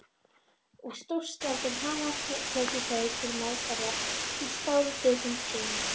og stórskáldin hafa tekið þau til meðferðar í skáldritum sínum.